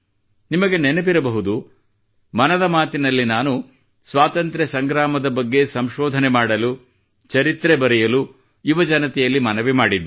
ನಿಮಗೆ ನೆನಪಿರಬಹುದು ಮನದ ಮಾತಿನಲ್ಲಿ ನಾನು ಸ್ವಾತಂತ್ರ್ಯ ಸಂಗ್ರಾಮದ ಬಗ್ಗೆ ಸಂಶೋಧನೆ ಮಾಡಲು ಚರಿತ್ರೆ ಬರೆಯಲು ಯುವಜನತೆಯಲ್ಲಿ ಮನವಿ ಮಾಡಿದ್ದೆ